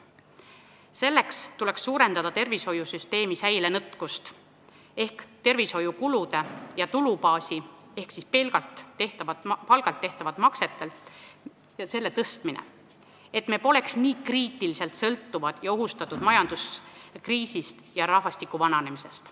Selle parandamiseks tuleks tervishoiusüsteemis suurendada säilenõtkust ehk tervishoiukulude tulubaasi , et me poleks nii kriitiliselt sõltuvad ja ohustatud majanduskriisist ja rahvastiku vananemisest.